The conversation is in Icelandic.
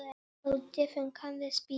Hversu erfitt getur þetta verið?